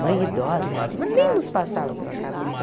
Mãe idosa, mas nem nos passava pela cabeça.